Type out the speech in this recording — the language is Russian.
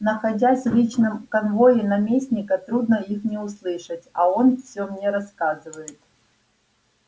находясь в личном конвое наместника трудно их не услышать а он все мне рассказывает